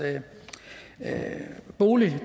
bolig